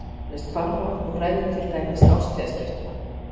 Slíkt ár nefnist hvarfár og ræður til dæmis árstíðaskiptum.